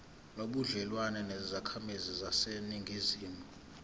nobudlelwane nezakhamizi zaseningizimu